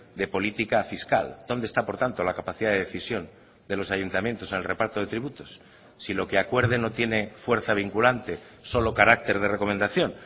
de política fiscal dónde está por tanto la capacidad de decisión de los ayuntamientos en el reparto de tributos si lo que acuerden no tiene fuerza vinculante solo carácter de recomendación